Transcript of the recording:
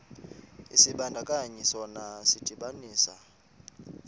isibandakanyi sona sidibanisa